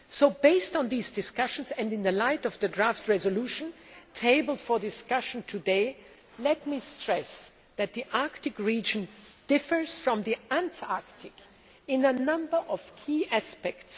So, based on these discussions and in light of the motion for a resolution tabled for discussion today, let me stress that the Arctic region differs from the Antarctic in a number of key aspects.